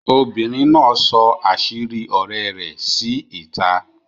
Obìnrin náà sọ̀ àṣírí ọ̀rẹ́ rẹ sí ìta